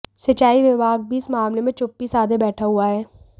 सिंचाई विभाग भी इस मामले में चुप्पी साधे बैठा हुआ हे